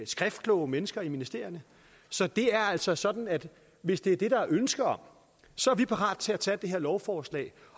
skriftkloge mennesker i ministerierne så det er altså sådan at hvis det er det der er ønske om så er vi parate til tage det her lovforslag